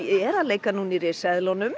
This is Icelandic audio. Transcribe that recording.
er að leika núna í